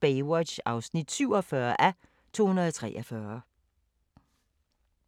Baywatch (47:243)